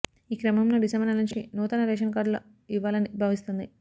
ఈ క్రమంలో డిసెంబర్ నెలనుంచి నూతన రేషన్ కార్డులు ఇవ్వాలని భావిస్తోంది